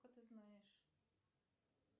ты знаешь